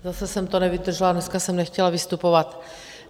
Zase jsem to nevydržela, dneska jsem nechtěla vystupovat.